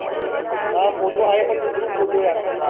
हा फोटो आहे पण ग्रुप फोटो यार